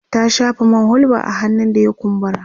ta shafa man hulba a hannun da ya kumbura